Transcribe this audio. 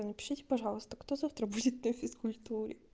напишите пожалуйста кто завтра будет на физкультуре